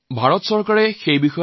ভাৰত চৰকাৰ এই লৈ কাম কৰিব